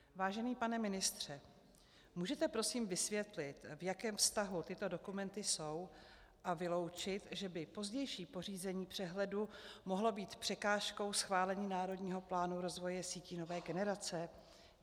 Vážený pane ministře, můžete prosím vysvětlit, v jakém vztahu tyto dokumenty jsou, a vyloučit, že by pozdější pořízení přehledu mohlo být překážkou schválení Národního plánu rozvoje sítí nové generace?